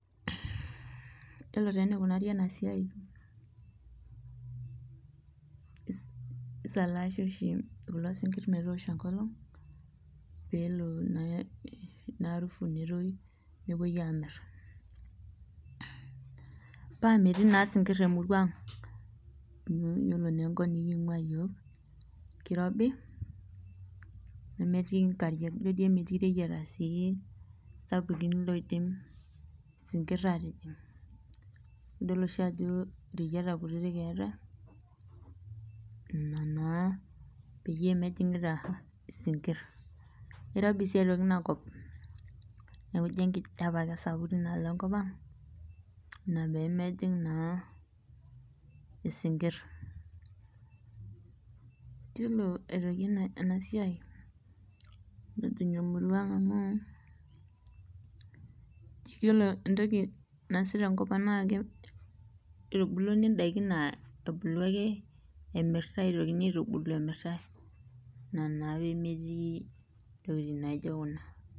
Yiolo taa enikunari ena siai ,keisalaashi kulo sinkir metoosho enkolong',pee elo naa arufu netoyu nepoi aamir, paa metii naa sinkir emurua ang ,yiolo naa ekop nikingua yiolo keirobi nametii nkariak ,ijo dii emetii reyiata sapukin oidim isinkir atijing ,idol oshi ajo reyiata kutitik eetae ina naa peyie mejingita isinkir. irobi sii aitoki ina kop neeku ijo ekijepe esapuk tinaalo enkop ang ina pee mejing naa isinkir. yilo aitoki ena siai mejing amurua ang amu yiolo entoki nasip naa ore tenkopang naa eitubulini ndaiki naa ebulu ake imirtae ina naa pee metii ntokiting naijo kuna .